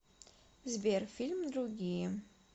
сбер фильм другие